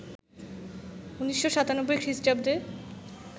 ১৯৯৭ খ্রিস্টাব্দে